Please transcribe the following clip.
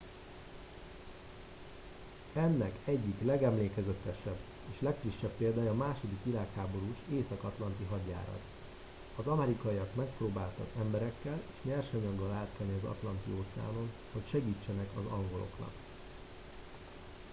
ennek egyik legemlékezetesebb és legfrissebb példája a második világháborús észak atlanti hadjárat az amerikaiak megpróbáltak emberekkel és nyersanyaggal átkelni az atlanti óceánon hogy segítsenek az angoloknak